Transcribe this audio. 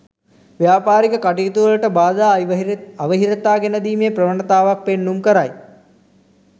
ව්‍යාපාරික කටයුතුවලට බාධා අවහිරතා ගෙනදීමේ ප්‍රවණතාවක් පෙන්නුම් කරයි.